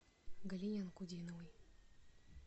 галине анкудиновой